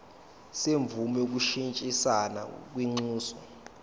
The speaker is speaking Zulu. semvume yokushintshisana kwinxusa